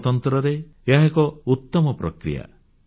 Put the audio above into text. ଗଣତନ୍ତ୍ରରେ ଏହା ଏକ ଉତ୍ତମ ପ୍ରକ୍ରିୟା